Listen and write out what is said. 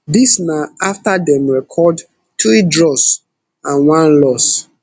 dis na afta dem record three draws and one loss